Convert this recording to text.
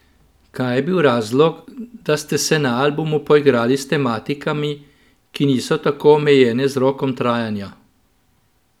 Kaj je bil razlog, da ste se na albumu poigrali s tematikami, ki niso tako omejene z rokom trajanja?